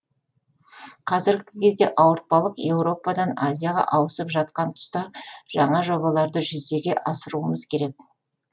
қазіргі кезде ауыртпалық еуропадан азияға ауысып жатқан тұста жаңа жобаларды жүзеге асыруымыз керек